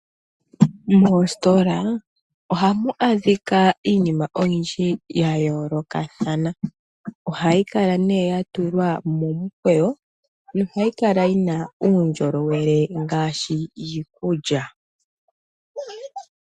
Moostola ohamu adhika iinima oyindji ya yoolokathana. Ohayi kala ne ya tulwa momukweyo nohayi kala yi na uundjolowele ngaashi iikulya.